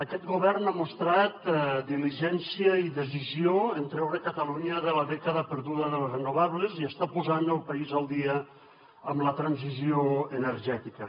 aquest govern ha mostrat diligència i decisió en treure catalunya de la dècada perduda de les renovables i està posant el país al dia amb la transició energètica